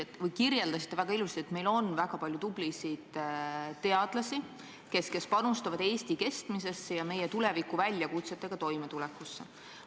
Te kirjeldasite väga ilusasti, et meil on palju tublisid teadlasi, kes panustavad Eesti kestmisesse ja meie tulevikuväljakutsetega toimetulekusse.